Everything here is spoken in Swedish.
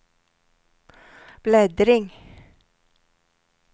bläddring